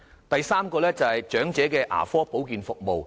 第三，是長者牙科保健服務。